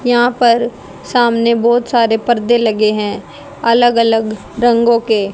यहां पर सामने बहुत सारे पर्दे लगे हैं अलग अलग रंगों के।